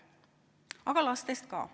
Aga lastest ka.